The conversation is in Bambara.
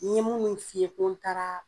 Ɲe munnu f'i ye ko n taaraa